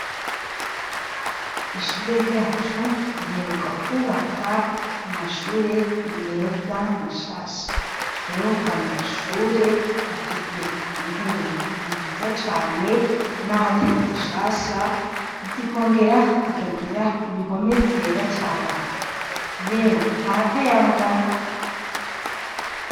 Ishure ryacu riheruka kubaka amashure meza mashasha. Rero ayo mashure afise intebe nziza cane n'aho atari zishasha zikongera zikagira ibihome byera cane .yewe harakayangana.